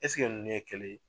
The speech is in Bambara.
Eseke ninnu ye kelen ye.